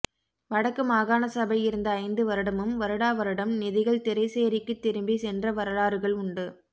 வடக்கு மாகாண சபை இருந்த ஐந்து வருடமும் வருட வருடம் நிதிகள் திறைசேரிக்கு திரும்பி சென்ற வரலாறுகள் உண்டு